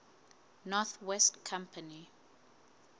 north west company